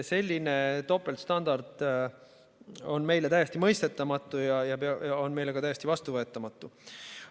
Selline topeltstandard on meile täiesti mõistetamatu ja see on meile ka täiesti vastuvõetamatu.